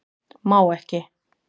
Má ekki